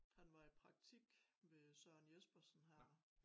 Han var i praktik ved Søren Jespersen her